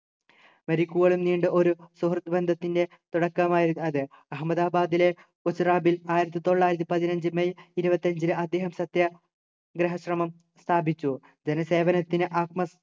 മരിക്കുവോളം നീണ്ട ഒരു സുഹൃത്ത് ബന്ധത്തിൻ്റെ തുടക്കമായിരുന്നു അത് അഹമ്മദാബാദിലെ കൊച്ച്റാബിൽ ആയിരത്തി തൊള്ളായിരത്തി പതിനഞ്ചു മെയ് ഇരുപത്തി അഞ്ചിന് അദ്ദേഹം സത്യാ ഗ്രഹം ശ്രമം സ്ഥാപിച്ചു